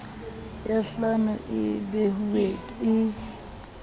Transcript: ya phano e behuweng e